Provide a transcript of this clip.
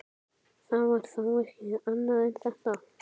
Það var þá ekki annað en þetta!